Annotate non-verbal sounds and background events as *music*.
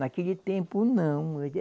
Naquele tempo, não. *unintelligible*